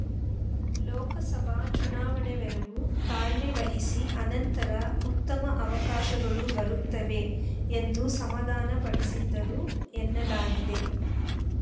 ಲೋಕಸಭೆ ಚುನಾವಣೆವರೆಗೂ ತಾಳ್ಮೆವಹಿಸಿ ಅನಂತರ ಉತ್ತಮ ಅವಕಾಶಗಳು ಬರುತ್ತವೆ ಎಂದು ಸಮಾಧಾನ ಪಡಿಸಿದರು ಎನ್ನಲಾಗಿದೆ